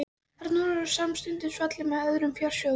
Þar var hún samstundis falin með öðrum fjársjóðum.